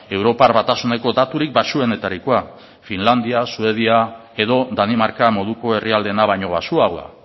europar batasuneko daturik baxuenetarikoa finlandia suedia edo danimarka moduko herrialdeena baino baxuagoa